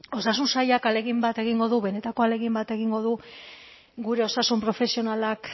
osasun sailak ahalegin bat egingo du benetako ahalegin bat egingo du gure osasun profesionalak